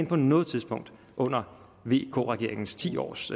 på noget tidspunkt under vk regeringens ti års